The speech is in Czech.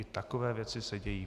I takové věci se dějí.